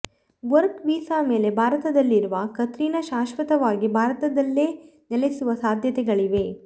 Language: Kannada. ವರ್ಕ್ ವೀಸಾ ಮೇಲೆ ಭಾರತದಲ್ಲಿರುವ ಕತ್ರಿನಾ ಶಾಶ್ವತವಾಗಿ ಭಾರತದಲ್ಲೇ ನೆಲೆಸುವ ಸಾಧ್ಯತೆಗಳಿವೆ